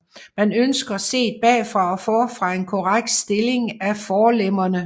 Man ønsker set bagfra og forfra en korrekt stilling af forlemmerne